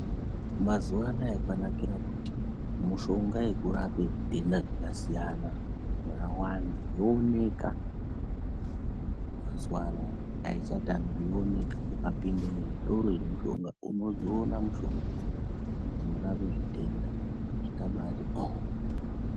Mazuva anaya kwanakira kuti mushonga yekurape zvitenda zvakasiyana yakawanda yooneka mazuva anaya haichatamiki yooneka ukapinde muzvitoro zvemushonga unodziona mishongadzo dzinorape zvitenda zvakabaati oh.